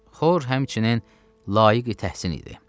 Xor həmçinin layiq bir təhsin idi.